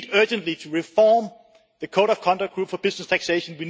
So we need urgently to reform the code of conduct group for business taxation